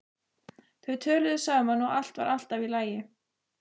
Þau töluðu saman og allt var alltaf í lagi.